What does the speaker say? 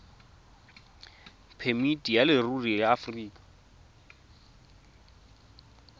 phemiti ya leruri ya aforika